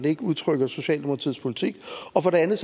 ikke udtrykker socialdemokratiets politik og for det andet